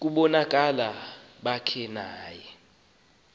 ngobulumko bakhe naye